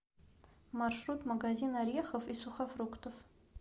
маршрут магазин орехов и сухофруктов